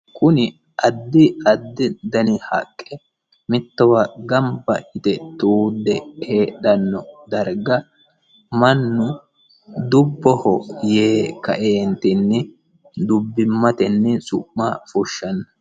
kuni addi addi dani haqqe mitto darga gamba yite tuudde heedhanno darga mannu dubboho yee kaeentinni dubbimmatenni su'ma fushshanno.